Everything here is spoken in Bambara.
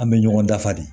An bɛ ɲɔgɔn dafa de